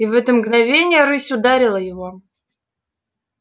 и в это мгновение рысь ударила его